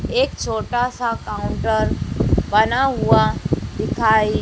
एक छोटासा काउंटर बना हुआ दिखाई--